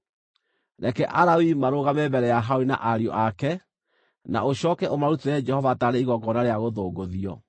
Reke Alawii marũgame mbere ya Harũni na ariũ ake, na ũcooke ũmarutĩre Jehova taarĩ igongona rĩa gũthũngũthio.